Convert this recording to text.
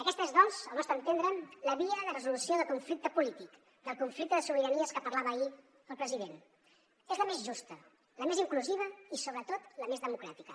aquesta és doncs al nostre entendre la via de resolució del conflicte polític del conflicte de sobiranies que parlava ahir el president es la més justa la més inclusiva i sobretot la més democràtica